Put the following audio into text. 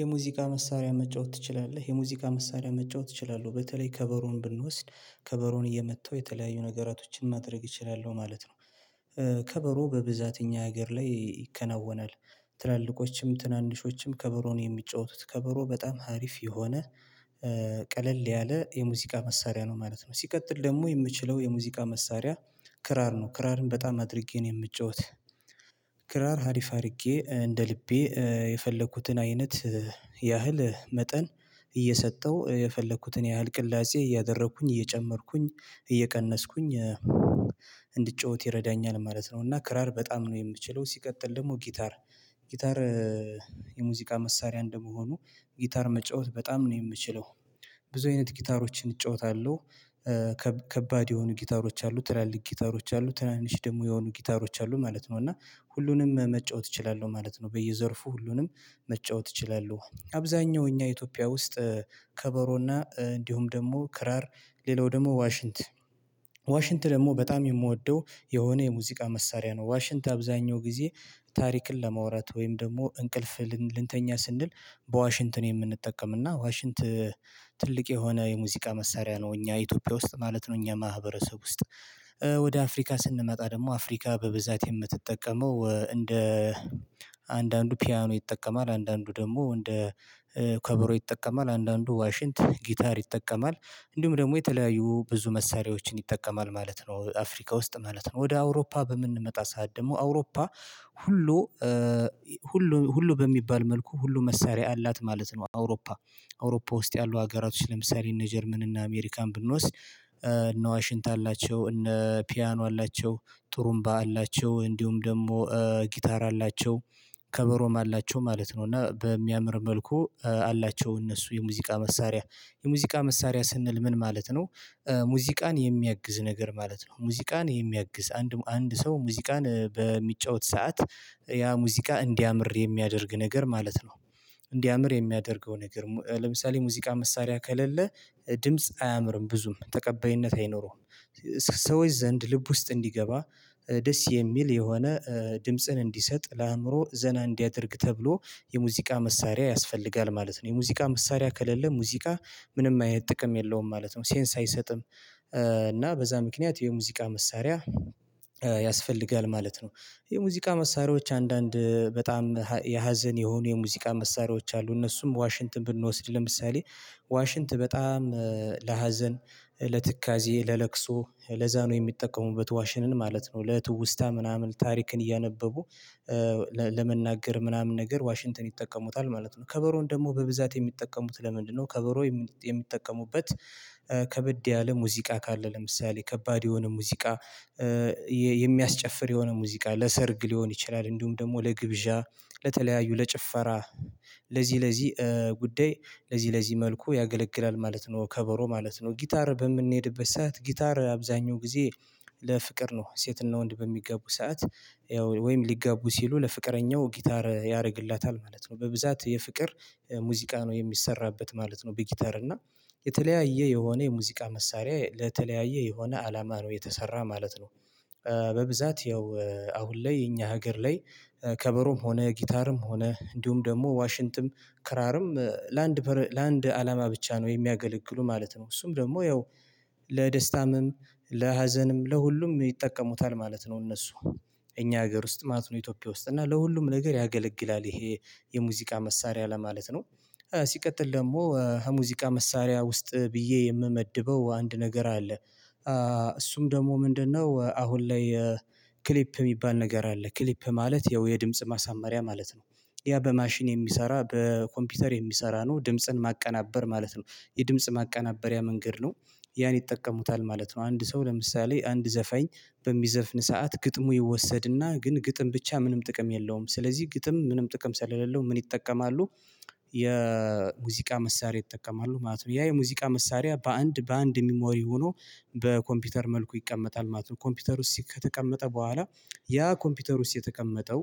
የሙዚቃ መሳሪያ መጫወት ትችላለህ? የሙዚቃ መሳሪያ መጫወት እችላለህ በተለይ ከበሮን ብንወስድ ከበሮን እየመታው የተለያዩ ነገራቶችን ማድረግ እችላለሁ ማለት ነው። ከበሮ በብዛት እኛ ሀገር ላይ ይከናወናል። ትላልቆችም ትናንሾችም ከበሮን የሚጫወቱት ከበሮ በጣም ሀሪፍ የሆነ ያለ የሙዚቃ መሳሪያ ነው ማለት ነው። ሲቀጥል ደግሞ የምችለው የሙዚቃ መሳሪያ ክራር ነው ክራርን በጣም አድርጌ ነው የምጫወት። ክራር ሀሪፍ አድርጌ እንደ ልቤ የፈለኩትን አይነት ያህል መጠን እየሰጠው የፈለኩትን ያህል ቅላጼ እያደረኩኝ እየጨመርኩኝ እየቀነስኩኝ እንድጫወት ይረዳኛል ማለት ነው። እና ክራር በጣም ነው የምችለው ሲቀጥል ደግሞ ጊታር ጊታር የሙዚቃ መሳሪያ እንደመሆኑ ጊታር መጫወት በጣም ነው የምችለው። ብዙ አይነት ጊታሮችን እጫወታለሁ። ከከባድ የሆኑ ጊታሮች አሉ ትላልቅ ጊታሮች አሉ ትናንሽ ደግሞ የሆኑ ጊታሮች አሉ ማለት ነው እና ሁሉንም መጫወት እችላለሁ ማለት ነው። በየዘርፉ ሁሉንም መጫወት እችላለሁ አብዛኛው እኛ ኢትዮጵያ ውስጥ ከበሮና እንዲሁም ደግሞ ክራር ሌላው ደግሞ ዋሽንት። ዋሽንት ደግሞ በጣም የምወደው የሆነ የሙዚቃ መሳሪያ ነው ዋሽንት አብዛኛው ጊዜ። ታሪክን ለማውራት ወይም ደግሞ እንቅልፍ ልንተኛ ስንል በዋሽንትን የምንጠቀም እና ዋሽንት ትልቅ የሆነ የሙዚቃ መሳሪያ ነው እኛ ኢትዮጵያ ውስጥ ማለት ነው። እኛ ማህበረሰብ ውስጥ ወደ አፍሪካ ስንመጣ ደግሞ አፍሪካ በብዛት የምትጠቀመው እንደ አንዳንዱ ፒያኖ ይጠቀማል አንዳንዱ ደግሞ እንደ ከበሮ ይጠቀማል አንዳንዱ ዋሽንት ጊታር ይጠቀማል እንዲሁም ደግሞ የተለያዩ ብዙ መሳሪያዎችን ይጠቀማል ማለት ነው። አፍሪካ ውስጥ ማለት ነው ወደ አውሮፓ በምንመጣ ሰዓት ደግሞ አውሮፓ ሁሉ ሁሉ ሁሉ በሚባል መልኩ ሁሉ መሳሪያ አላት ማለት ነው። አውሮፓ አውሮፓ ውስጥ ያሉ ሀገራቶች ለምሳሌ እነ ጀርመን እና አሜሪካን ብንወስድ እነ ዋሽንት አላቸው እነ ፒያኖ አላቸው ጥሩምባ አላቸው እንዲሁም ደግሞ ጊታር አላቸው ከበሮም አላቸው ማለት ነው። እና በሚያምር መልኩ አላቸው እነሱ የሙዚቃ መሳሪያ የሙዚቃ መሳሪያ ስንል ምን ማለት ነው ሙዚቃን የሚያግዝ ነገር ማለት ነው። ሙዚቃን የሚያግዝ አንድ አንድ ሰው ሙዚቃን በሚጫወት ሰዓት ያ ሙዚቃ እንዲያምር የሚያደርግ ነገር ማለት ነው። እንዲያምር የሚያደርገው ነገር ለምሳሌ ሙዚቃ መሳሪያ ከሌለ ድምጽ አያምርም ብዙም ተቀባይነት አይኖረውም። ሰዎች ዘንድ ልብ ውስጥ እንዲገባ ደስ የሚል የሆነ ድምጽን እንዲሰጥ ለአእምሮ ዘና እንዲያደርግ ተብሎ የሙዚቃ መሳሪያ ያስፈልጋል ማለት ነው። የሙዚቃ መሳሪያ ከሌለ ሙዚቃ ምንም አይነት ጥቅም የለውም ማለት ነው ሴንስ አይሰጥም። እና በዛ ምክንያት የሙዚቃ መሳሪያ ያስፈልጋል ማለት ነው። የሙዚቃ መሳሪያዎች አንዳንድ በጣም የሀዘን የሆኑ የሙዚቃ መሳሪያዎች አሉ እነሱም ዋሽንትን ብንወስድ ለምሳሌ ዋሽንት በጣም ለሀዘን ለትካዜ ለለቅሶ ለዛ ነው የሚጠቀሙበት ዋሽንን ማለት ነው። ለትውስታ ምናምን ታሪክን እያነበቡ ለመናገር ምናምን ነገር ዋሽንግተን ይጠቀሙታል ማለት ነው። ከበሮን ደግሞ በብዛት የሚጠቀሙት ለምንድነው ከበሮ የሚጠቀሙበት? ከብድ ያለ ሙዚቃ ካለ ለምሳሌ ከባድ የሆነ ሙዚቃ የሚያስጨፍር የሆነ ሙዚቃ ለሰርግ ሊሆን ይችላል እንዲሁም ደግሞ ለግብዣ ለተለያዩ ለጭፈራ ለዚህ ለዚህ ጉዳይ ለዚህ ለዚህ መልኩ ያገለግላል ማለት ነው። ከበሮ ማለት ነው ጊታር በምንሄድበት ሰዓት ጊታር አብዛኛው ጊዜ ለፍቅር ነው ሴትና ወንድ በሚጋቡ ሰዓት ወይም ሊገቡ ሲሉ ለፍቅረኛው ጊታር ያደርግላታል ማለት ነው በብዛት የፍቅር ሙዚቃ ነው የሚሰራበት ማለት ነው። በጊታር እና የተለያየ የሆነ የሙዚቃ መሳሪያ ለተለያየ የሆነ አላማ ነው የተሰራ ማለት ነው። በብዛት ያው አሁን ላይ የኛ ሀገር ላይ ከበሮም ሆነ ጊታርም ሆነ እንዲሁም ደግሞ ዋሽንትም ክራርም ለአንድ ለአንድ አላማ ብቻ ነው የሚያገለግሉ ማለት ነው። እሱም ደግሞ ያው ለደስታምም ለሀዘንም ለሁሉም ይጠቀሙታል ማለት ነው እነሱ እኛ ሀገር ውስጥ ማለት ነው ኢትዮጵያ ውስጥ እና ለሁሉም ነገር ያገለግላል። ይሄ የሙዚቃ መሳሪያ ለማለት ነው ሲቀጥል ደግሞ ሙዚቃ መሳሪያ ውስጥ ብዬ የምመድበው አንድ ነገር አለ። እሱም ደግሞ ምንድነው? አሁን ላይ ክሊፕ የሚባል ነገር አለ ክሊፕ ማለት ያው የድምጽ ማሳመሪያ ማለት ነው። ያ በማሽን የሚሰራ በኮምፒውተር የሚሰራ ነው ድምጽን ማቀናበር ማለት ነው። የድምጽ ማቀናበሪያ መንገድ ነው ያን ይጠቀሙታል ማለት ነው። አንድ ሰው ለምሳሌ አንድ ዘፈኝ በሚዘፍን ሰዓት ግጥሙ ይወሰድና ግን ግጥም ብቻ ምንም ጥቅም የለውም ስለዚህ ግጥም ምንም ጥቅም ሰለሌለው ምን ይጠቀማሉ? የሙዚቃ መሳሪያ ይጠቀማሉ ማለት ነው። ያ የሙዚቃ መሳሪያ በአንድ በአንድ ሚሞሪ ሆኖ በኮምፒውተር መልኩ ይቀመጣል ማለት ነው። ኮምፒውተር ውስጥ ከተቀመጠ በኋላ ያ ኮምፒውተር ውስጥ የተቀመጠው